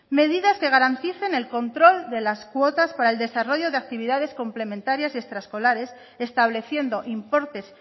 medidas que garanticen el control de la cuotas para el desarrollo de actividades complementarias y extraescolares estableciendo importes